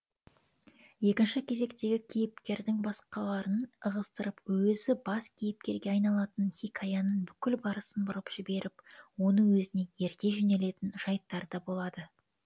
екінші кезектегі кейіпкердің басқаларын ығыстырып өзі бас кейіпкерге айналатын хикаяның бүкіл барысын бұрып жіберіп оны өзіне ерте жөнелетін жайттар да болады